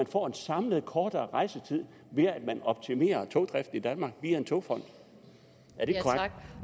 får en samlet kortere rejsetid ved at man optimerer togdriften i danmark via en togfond